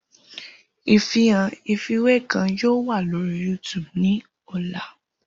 Ifihan ifiwe kan yoo wa lori YouTube ni ọla.